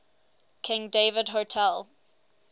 king david hotel